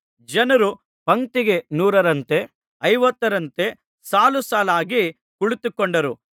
ಜನರು ಪಂಕ್ತಿಗೆ ನೂರರಂತೆ ಐವತ್ತರಂತೆ ಸಾಲುಸಾಲಾಗಿ ಕುಳಿತುಕೊಂಡರು